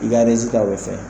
I ka o bɛ fɛn.